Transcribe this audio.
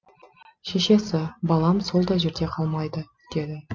шешесі балам сол да жерде қалмайды деді